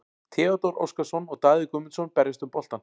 Theodór Óskarsson og Daði Guðmundsson berjast um boltann.